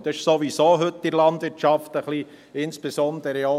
Dies ist sowieso heute in der Landwirtschaft schon ein wenig …